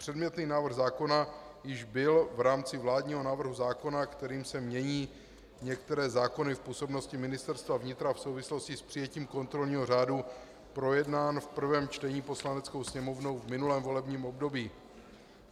Předmětný návrh zákona již byl v rámci vládního návrhu zákona, kterým se mění některé zákony v působnosti Ministerstva vnitra v souvislosti s přijetím kontrolního řádu, projednán v prvém čtení Poslaneckou sněmovnou v minulém volebním období.